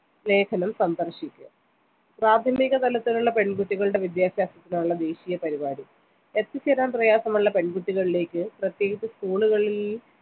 ലേഖനം സന്ദർശിക്ക പ്രാഥമിക തലത്തിലുള്ള പെൺകുട്ടികളുടെ വിദ്യാഭ്യാസത്തിനുള്ള ദേശിയ പരുപാടി എത്തിച്ചേരാൻ പ്രയാസമുള്ള പെൺകുട്ടികളിലേക്ക് പ്രത്യേകിച്ച് school കളിൽ